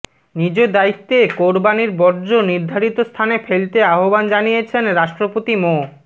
নিজ দায়িত্বে কোরবানির বর্জ্য নির্ধারিত স্থানে ফেলতে আহ্বান জানিয়েছেন রাষ্ট্রপতি মো